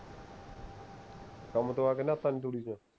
ਕੰਮ ਤੋਂ ਆਕੇ ਨਾਹਤਾ ਨਹੀਂ ਤੂੜੀ ਤੋਂ